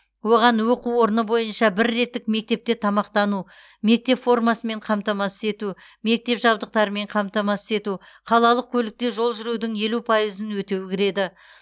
оған оқу орны бойынша бір реттік мектепте тамақтану мектеп формасымен қамтамасыз ету мектеп жабдықтарымен қамтамасыз ету қалалық көлікте жол жүрудің елу пайызын өтеу кіреді